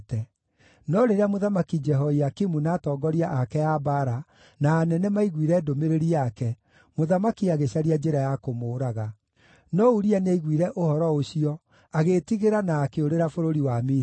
No rĩrĩa Mũthamaki Jehoiakimu, na atongoria ake a mbaara na anene maiguire ndũmĩrĩri yake, mũthamaki agĩcaria njĩra ya kũmũũraga. No Uria nĩaiguire ũhoro ũcio, agĩĩtigĩra, na akĩũrĩra bũrũri wa Misiri.